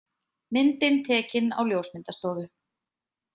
Myndin tekin á ljósmyndastofu.